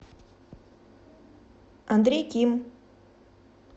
андрей ким